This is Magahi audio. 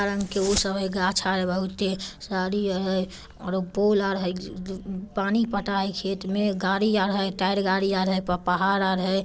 गाझ ह बहुत ही साड़ी है ओरो पूल है आर ह इ पानी पटा है खेत में गाड़ी अरह है टायर गाड़ी अरह है प-पहाड़ अ रहा है।